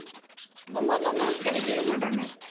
இந்த மாதிரிலாம் ma'am கிடைக்கவே மாட்டாங்க.